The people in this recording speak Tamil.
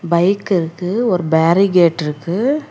பைக் இருக்கு ஒரு பேரிகேட்ருக்கு .